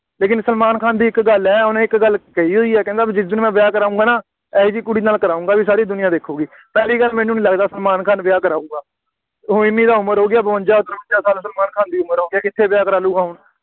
ਲੇਕਿਨ ਸਲਮਾਨ ਖਾਨ ਦੀ ਇੱਕ ਗੱਲ ਹੈ, ਉਹਨੇ ਇੱਕ ਗੱਲ ਕਹੀ ਹੋਈ ਹੈ, ਕਹਿੰਦਾ ਜਿਸ ਦਿਨ ਮੈਂ ਵਿਆਹ ਕਰਾਊਂਗਾ ਨਾ, ਇਹੋ ਜਿਹੀ ਕੁੜੀ ਨਾਲ ਕਰਾਊਂਗਾ, ਬਈ ਸਾਰੀ ਦੁਨੀਆ ਦੇਖੂਗੀ, ਪਹਿਲੀ ਗੱਲ ਮੈਨੂੰ ਨਹੀਂ ਲੱਗਦਾ ਸਲਮਾਨ ਖਾਨ ਵਿਆਹ ਕਰਾਊਗਾ, ਉਹ ਐਨੀ ਤਾਂ ਉਮਰ ਹੋ ਗਈ ਆ, ਬਵੰਜ਼ਾ, ਤਰਵੰਜ਼ਾ ਸਾਲ ਸਲਮਾਨ ਖਾਨ ਦੀ ਉਮਰ ਹੋ ਗਈ ਹੈ, ਕਿੱਥੇ ਵਿਆਹ ਕਰਾ ਲਊਗਾ ਹੁਣ,